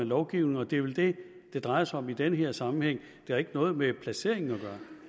lovgivningen og det er vel det det drejer sig om i den her sammenhæng det har ikke noget med placeringen at